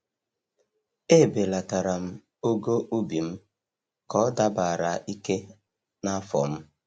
E belatara'm ogo ubi m ka ọ dabara ike na afọ m.